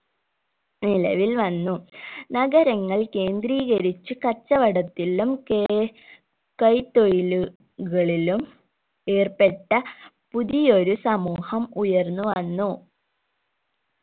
നിലവിൽ വന്നു നഗരങ്ങൾ കേന്ത്രീകരിച്ച് കച്ചവടത്തിലും കെ കൈത്തൊഴിലുകളിലും ഏർപ്പെട്ട പുതിയൊരു സമൂഹം ഉയർന്നു വന്നു